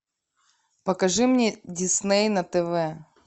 покажи мне дисней на тв